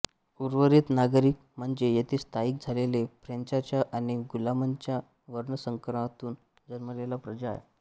उर्वरित नागरिक म्हणजे येथे स्थायिक झालेल्या फ्रेंचाच्या आणि गुलामंच्या वर्णसंकरातून जन्मलेली प्रजा आहे